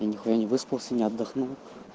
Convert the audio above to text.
я нехуя не выспался не отдохнул